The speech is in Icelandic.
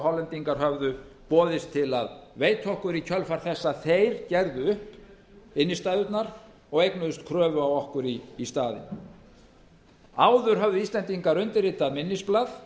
hollendingar höfðu boðist til að veita okkur í kjölfar þess að þeir gerðu upp innstæðurnar og eignuðust kröfu á okkur í staðinn áður höfðu íslendingar undirritað minnisblað